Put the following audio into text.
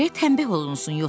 Gərək təmbəh olunsun,